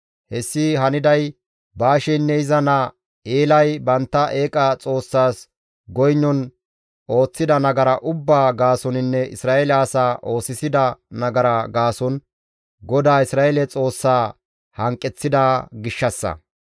Hessi haniday Baasheynne iza naa Eelay bantta eeqa xoossas goynon ooththida nagara ubbaa gaasoninne Isra7eele asaa oosisida nagara gaason GODAA Isra7eele Xoossaa hanqeththida gishshassa.